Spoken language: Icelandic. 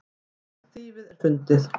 Mestallt þýfið er fundið.